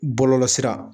Bɔlɔlɔsira